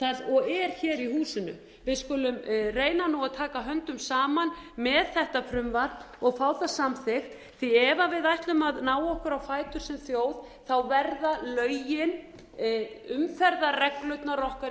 og er hér í húsinu við skulum reyna nú að taka höndum saman með þetta frumvarp og fá það samþykkt því ef við ætlum að ná okkur á fætur sem þjóð verða lögin umferðarreglurnar okkar